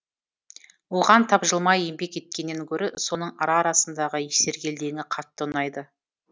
оған тапжылмай еңбек еткеннен гөрі соның ара арасындағы сергелдеңі қатты ұнайды